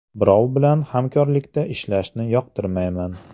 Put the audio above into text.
Birov bilan hamkorlikda ishlashni yoqtirmayman.